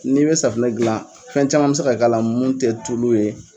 Ni be safunɛ gilan fɛn caman be se ka k'a la mun tɛ tulu ye.